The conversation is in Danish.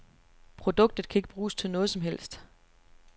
Produktet kan ikke bruges til noget som helst.